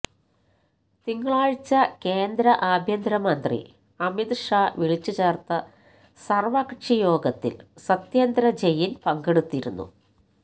തിങ്കളാഴ്ച കേന്ദ്ര ആഭ്യന്തര മന്ത്രി അമിത് ഷാ വിളിച്ചു ചേർത്ത സർവകക്ഷി യോഗത്തിൽ സത്യേന്ദ്ര ജെയിൻ പങ്കെടുത്തിരുന്നു